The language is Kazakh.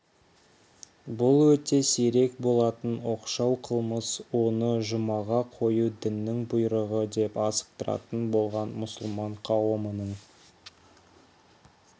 бұл өте сирек болатын оқшау қылмыс оны жұмаға қою діннің бұйрығы деп асықтыратын болған мұсылман қауымының